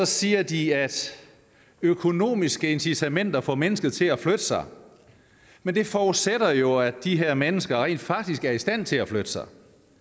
siger de at økonomiske incitamenter får mennesker til at flytte sig men det forudsætter jo at de her mennesker rent faktisk er i stand til at flytte sig